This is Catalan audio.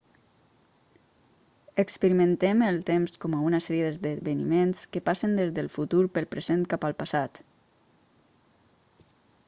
experimentem el temps com a una sèrie d'esdeveniments que passen des del futur pel present cap al passat